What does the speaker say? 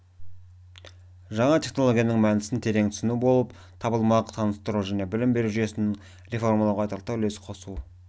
жаңа технологияның мәнісін терең түсіну болып табылмақ таныстыру және білім беру жүйесін реформалауға айтарлықтай үлес қосу